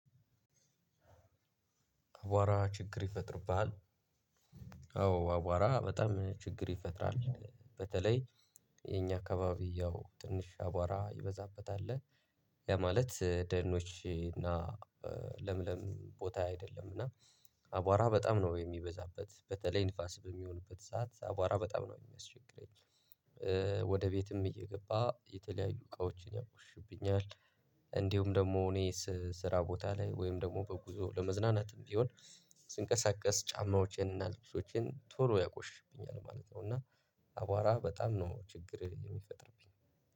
አቧራ ችግር ይፈጥርብሃል? አዎ አቧራ በጣም ችግር ይፈጥራል በተለይ የኛ አካባቢ ያው ትንሽ አቧራ ይበዛበት አለ። ያ ማለት ደኖች እና ለምለም ቦታ አይደለም እና አቧራ በጣም ነው የሚበዛበት በተለይ ንፋስ በሚሆንበት ሰዓት አቧራ በጣም ነው የሚያስቸግረኝ። ወደ ቤትም እየገባ የተለያዩ እቃዎችን ያቆሽሽብኛል። እንዲሁም ደግሞ እኔ ስራ ቦታ ላይ ወይም ደግሞ በጉዞ ለመዝናናትም ቢሆን ስንቀሳቀስ ጫማዎቼን እና ልብሶችን ቶሎ ያቆሽሽብኛል ማለት ነው። እና አቧራ በጣም ነው ችግር የሚፈጥርብኝ